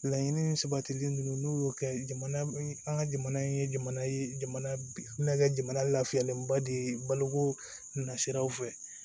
Laɲini sabatili ninnu n'u y'o kɛ jamana an ka jamana in ye jamana ye jamana kɛ jamana lafiyalenba de ye baloko nasiraw fɛ